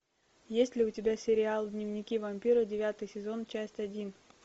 есть ли у тебя сериал дневники вампира девятый сезон часть один